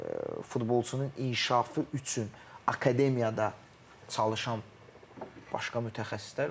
Futbolçunun inkişafı üçün akademiyada çalışan başqa mütəxəssislər var.